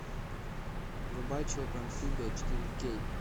врубай человек амфибия четыре кей